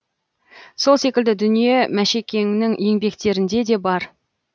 сол секілді дүние мәшекеңнің еңбектерінде де бар